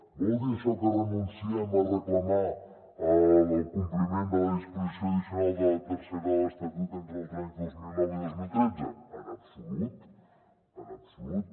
vol dir això que renunciem a reclamar el compliment de la disposició addicional tercera de l’estatut entre els anys dos mil nou i dos mil tretze en absolut en absolut